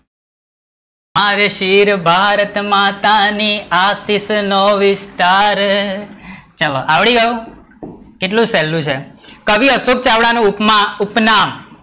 મારે શિર ભારતમાતા ની આશિષ નો વિસ્તાર, ચલો આવડી ગયું, કેટલું સહેલું છે, કવિ અશોકચાવડા નું ઉપમા, ઉપનામ